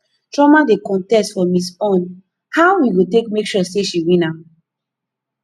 chioma dey contest for miss unn how we go take make sure she win am